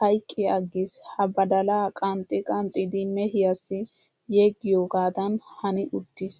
hayqqi aggis. He badalaa qanxxi qanxxidi mehiyaassi yeggiyoogaadan hani uttis .